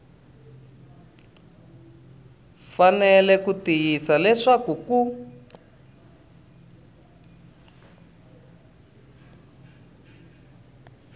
fanele ku tiyisisa leswaku ku